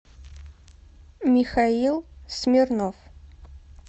михаил смирнов